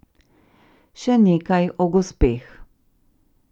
Še nekaj o gospeh.